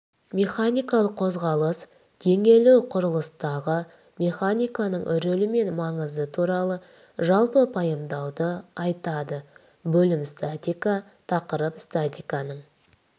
механикалық қозғалыс теңелу құрылыстағы механиканың рөлі мен маңызы туралы жалпы пайымдауды айтады бөлім статика тақырып статиканың